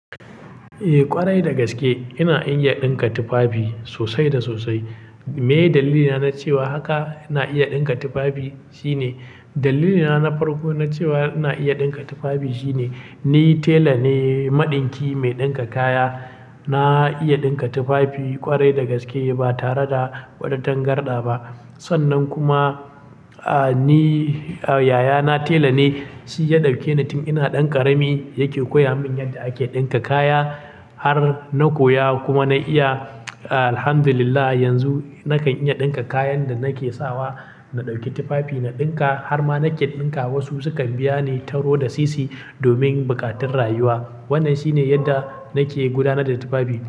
Eh ƙwarai da gaske ina iya ɗinka tufafi sosai da sosai. Meye dalilina na cewa haka na iya ɗinka tufafi shine, dalilina na farko na cewa na iya ɗinka tufafi shine ni tela ne, maɗinki mai ɗinka kaya. Na iya ɗinka tufafi ƙwarai da gaske ba tare da wani tangarda ba. Sannan kuma, ah, ni, ah, yayana tela ne, shi ya ɗauke ni tin ina ɗan ƙarami yake koya min yadda ake ɗinka kaya. Har na koya kuma na iya alhamdulillah yanzu nakan iya ɗinka kayan da nake sawa, na ɗauki tufafi na ɗinka har ma nake ɗinka wasu sukan biya ni taro da sisi domin buƙatun rayuwa. Wannan shine yadda nake gudanar da tufafi.